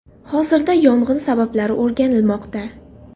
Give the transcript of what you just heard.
Hozirda yong‘in sabablari o‘rganilmoqda.